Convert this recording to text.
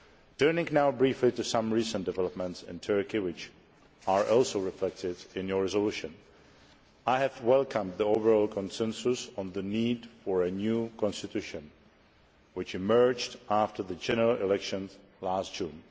Turning now briefly to some recent developments in Turkey which are also reflected in the resolution I have welcomed the overall consensus on the need for a new constitution which emerged after the general elections last June.